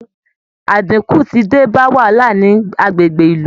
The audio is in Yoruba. Àdínkù ti dé bá wàhálà ní agbègbè ìlú